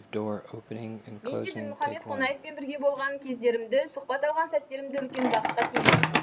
мен де дінмұхамед қонаевпен бірге болған кездерімді сұхбат алған сәттерімді үлкен бақытқа теңеймін